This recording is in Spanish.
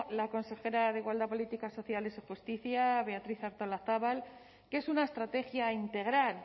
la consejera de igualdad políticas sociales y justicia beatriz artolazabal que es una estrategia integral